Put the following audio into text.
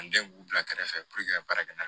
An gɛn k'u bila kɛrɛfɛ puruke ka baara kɛ na